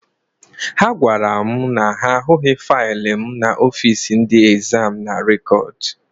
Ha gwara m na ha ahụghị faịlụ m n'ọfiisi ndị ezam na rekọd.